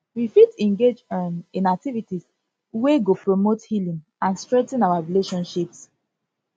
we fit engage um in activities wey go promote healing and strengthen our relationships